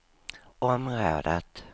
området